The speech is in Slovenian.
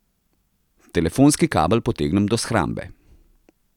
Telefonski kabel potegnem do shrambe.